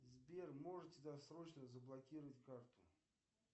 сбер можете досрочно заблокировать карту